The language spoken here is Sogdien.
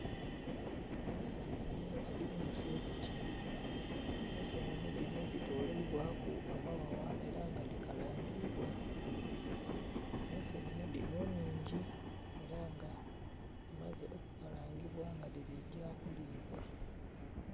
Ensenene edhiri mu sepiki ensenene dhinho dhi toleibwaku amaghagha era nga dhikalangibwa, ensenene dhinho nnhingi era nga dhimaze okukalangubwa era nga dhiligya kulibwa.